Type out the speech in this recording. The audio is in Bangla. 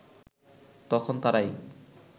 তখন তারাই